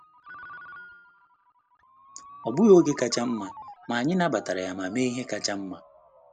Ọ bụghị oge kacha nma, ma anyị nabatara ya ma mee ihe kacha nma.